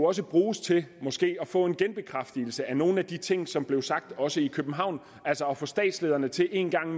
også bruges til måske at få en genbekræftelse af nogle af de ting som blev sagt også i københavn altså at få statslederne til en gang